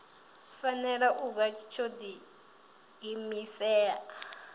fanela u vha tsho diimisela